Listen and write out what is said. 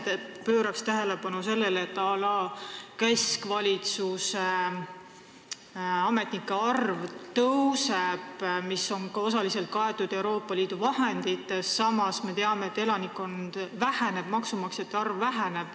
Mina pööraksin tähelepanu eriti sellele, et keskvalitsuse ametnike arv suureneb, mis on osaliselt kaetud Euroopa Liidu vahenditest, kuid samas me teame, et elanikkond väheneb, maksumaksjate arv väheneb.